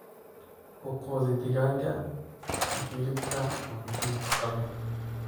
Ku quudi digaaga hilibka cunto nafaqo leh.